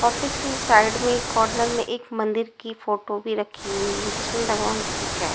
Office के side में corner में एक मंदिर की फोटो भी रखी हुई है जिसमें भगवान की पीक हैं।